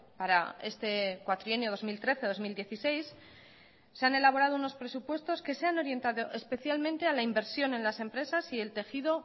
para este cuatrienio dos mil trece dos mil dieciséis se han elaborado unos presupuestos que se han orientado especialmente a la inversión en las empresas y el tejido